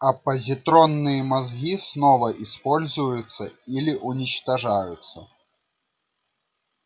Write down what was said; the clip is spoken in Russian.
а позитронные мозги снова используются или уничтожаются